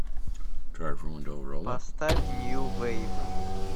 поставь нью вейв